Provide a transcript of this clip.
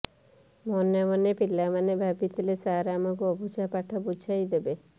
ମନେମନେ ପିଲାମାନେ ଭାବିଥିଲେ ସାର୍ ଆମକୁ ଅବୁଝା ପାଠ ବୁଝାଇ ଦେବେ